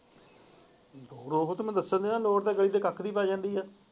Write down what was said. ਰੋਹਿਤ ਨੂੰ ਦੱਸਣ ਦੀ ਨੀ ਲੋੜ ਵੀ ਪਹ ਜਾਂਦੀ ਹੈ।